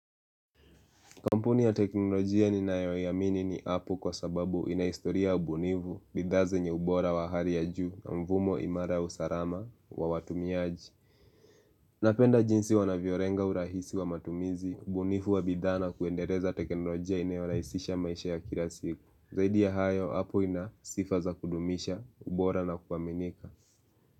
Kampuni ya teknolojia ninayoiamini ni apple kwa sababu inahistoria ubunifu, bidhaa zenye ubora wa hali ya juu na mfumo imara ya usalama wa watumiaji. Napenda jinsi wanavyolenga urahisi wa matumizi, ubunifu wa bidhaa na kuendeleza teknolojia inayorahisisha maisha ya kila siku. Zaidi ya hayo, apple ina sifa za kudumisha, ubora na kuaminika.